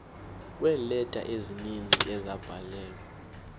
kweeleta ezininzi ezabhalelwa